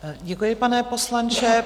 Děkuji, pane poslanče.